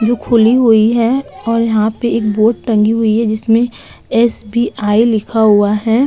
जो खुली हुई है और यहाँ पे एक बोर्ड टंगी हुई है। जिसमें एसबीआई लिखा हुआ है।